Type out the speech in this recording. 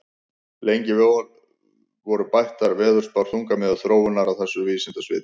Lengi vel voru bættar veðurspár þungamiðja þróunar á þessu vísindasviði.